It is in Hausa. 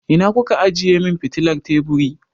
Ina ku ka ajiye min fitilar teburi?